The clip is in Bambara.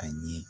A ye